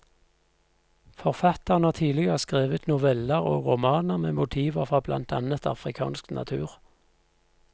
Forfatteren har tidligere skrevet noveller og romaner med motiver fra blant annet afrikansk natur.